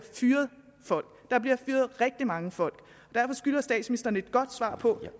fyret rigtig mange folk og derfor skylder statsministeren et godt svar på